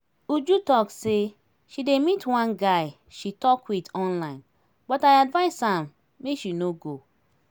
uju talk say she dey meet one guy she talk with online but i advice am make she no go